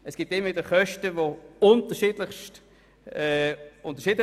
Es gibt immer wieder Kosten, die sehr unterschiedlich anfallen.